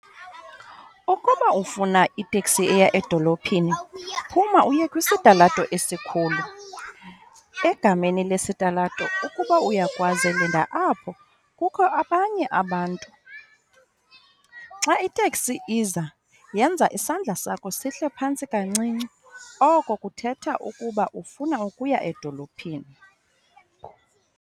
Ukuba ufuna iteksi eya edolophini phuma uye kwisitalato esikhulu. Egameni lesitalato ukuba uyakwazi linda apho kukho abanye abantu. Xa iteksi iza yenza isandla sakho sihle phantsi kancinci oko kuthetha ukuba ufuna ukuya edolophini.